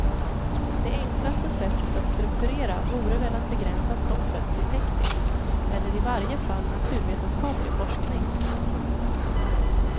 Det enklaste sättet att strukturera vore väl att begränsa stoffet till teknisk eller i varje fall naturvetenskaplig forskning.